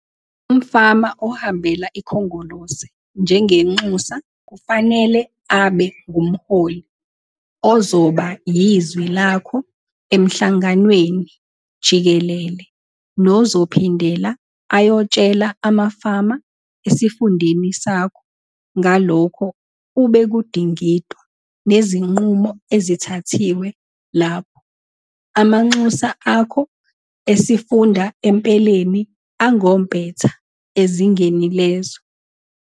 Umfama ohambela iKhongolose njengenxusa kufanele abe ngumholi ozoba yizwi lakho emhlanganweni jikelele nozophindela ayotshela amafama esifundeni sakho ngalokho ubekudingidwa nezinqumo ezithathiwe lapho. Amanxusa akho esifunda empeleni angompetha ezingeni lezwe.